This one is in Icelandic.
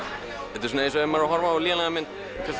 þetta er eins og ef maður horfir á lélega mynd